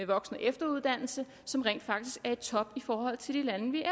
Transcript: voksen efteruddannelse som er i top i forhold til de lande vi